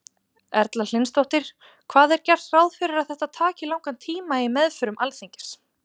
Erla Hlynsdóttir: Hvað er gert ráð fyrir að þetta taki langan tíma í meðförum Alþingis?